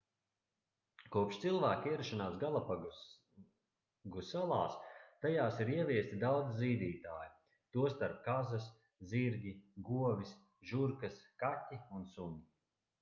kopš cilvēka ierašanās galapagu salās tajās ir ieviesti daudzi zīdītāji tostarp kazas zirgi govis žurkas kaķi un suņi